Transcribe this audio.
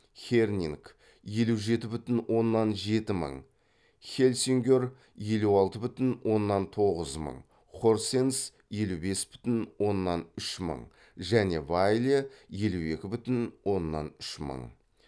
хернинг хельсингер хорсенс және вайле